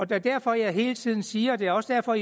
det er derfor jeg hele tiden siger og det er også derfor